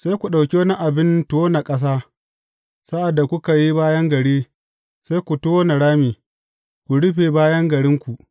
Sai ku ɗauki wani abin tona ƙasa, sa’ad da kuka yi bayan gari, sai ku tona rami, ku rufe bayan garinku.